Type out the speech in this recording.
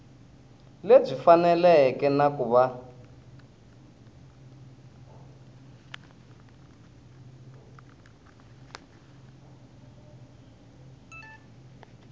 lebyi faneleke na ku va